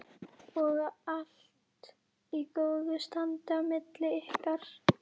Og allt í góðu standi á milli ykkar?